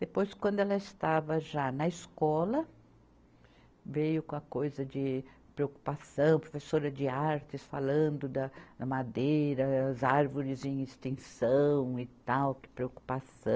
Depois, quando ela estava já na escola, veio com a coisa de preocupação, professora de artes falando da, da madeira, as árvores em extinção e tal, que preocupação.